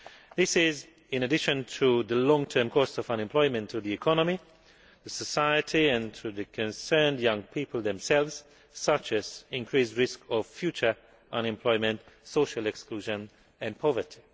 This is in addition to the long term costs of unemployment to the economy, to society and to the young people concerned themselves, such as the increased risk of future unemployment, social exclusion and poverty.